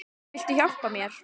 Viltu hjálpa mér?